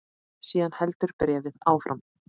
Síðan heldur bréfið áfram